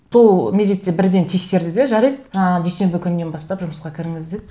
сол мезетте бірден тексерді де жарайды ыыы дүйсенбі күнінен бастап жұмысқа кіріңіз деді